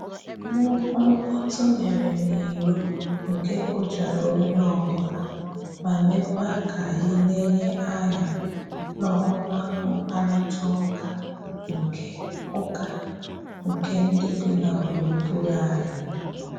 Nnukwu mkpọtụ mere n'iro nke kụjara onye ọbụla, ma mekwa k'anyị lenye anya n'ọwa mkparịta ụka nke ụka nke ndị bi na gburugburu anyị